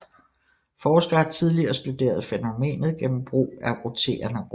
Forskere har tidligere studeret fænomenet gennem brug af roterende rum